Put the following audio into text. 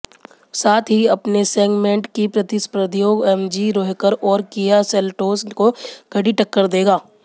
साथ ही अपने सेगमेंट की प्रतिस्पर्धियों एमजी हेक्टर और किआ सेल्टोस को कड़ी टक्कर देगा